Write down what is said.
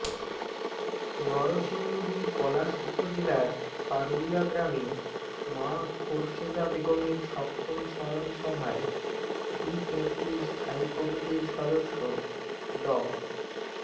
নরসিংদীর পলাশ উপজেলার পারুলিয়া গ্রামে মা খোরশেদা বেগমের সপ্তম স্মরণসভায় বিএনপির স্থায়ী কমিটির সদস্য ড